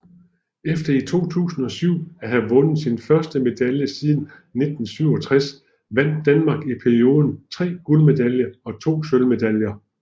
Efter i 2007 at have vundet sin første medalje siden 1967 vandt Danmark i perioden 3 guldmedaljer og 2 sølvmedaljer